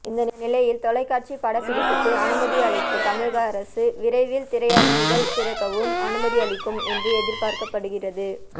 இந்த நிலையில் தொலைக்காட்சி படப்பிடிப்புக்கு அனுமதி அளித்த தமிழக அரசு விரைவில் திரையரங்குகள் திறக்கவும் அனுமதி அளிக்கும் என்று எதிர்பார்க்கப்படுகிறது